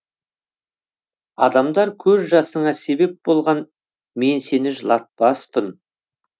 адамдар көз жасыңа себеп болған мен сені жылатпаспын